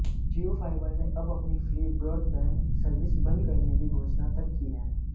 जियो fibre ने अब अपनी फ्री ब्रॉडबैंड सर्विस बंद करने की घोषणा तक जी है